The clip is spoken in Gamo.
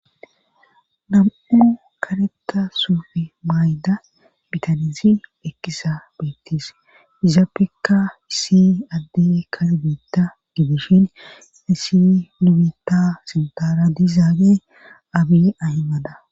Nam7u kareta soufi mayda bitanizi ekkisa beettis izaappekka isi addey kalbitta didishin isi nubita sintaara dizaage abi ahimada.